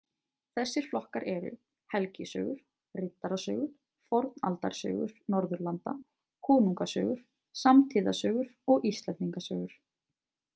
Þessir flokkar eru helgisögur , riddarasögur , fornaldarsögur Norðurlanda, konungasögur, samtíðasögur og Íslendingasögur.